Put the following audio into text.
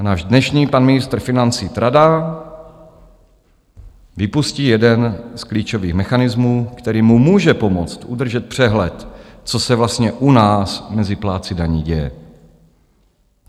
A náš dnešní pan ministr financí tradá, vypustí jeden z klíčových mechanismů, který mu může pomoct udržet přehled, co se vlastně u nás mezi plátci daní děje.